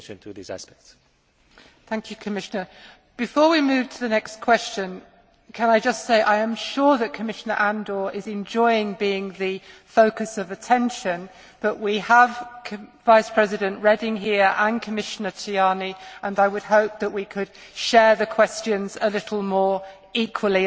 Before we move to the next question can I just say I am sure that Commissioner Andor is enjoying being the focus of attention, but we have Vice President Reding here and Commissioner Tajani, and I would hope that we could share the questions a little more equally and take advantage of everybody's presence.